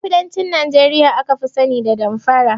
Ƴan kudancin Nijeriya aka fi sani da damfara